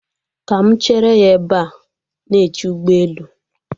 Ka mụ chere ya ebe a na-eche ụgbọelu